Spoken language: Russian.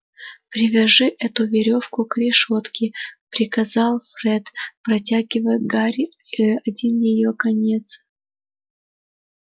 привяжи эту верёвку к решётке приказал фред протягивая гарри один её конец